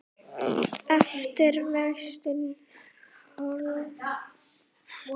eftir Véstein Ólason.